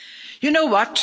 You know what?